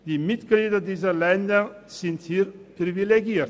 Die Angehörigen dieser Länder sind in diesem Punkt privilegiert.